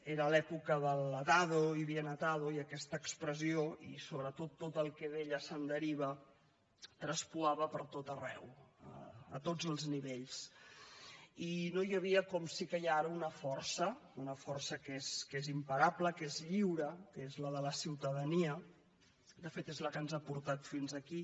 era l’època de l’ atado y bien atado i aquesta expressió i sobretot tot el que d’ella se’n deriva traspuava per tot arreu a tots els nivells i no hi havia com sí que hi ha ara una força una força que és imparable que és lliure que és la de la ciutadania de fet és la que ens ha portat fins aquí